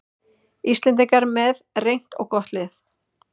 Íslendingar með reynt og gott lið